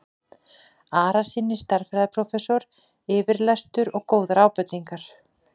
Arasyni stærðfræðiprófessor yfirlestur og góðar ábendingar.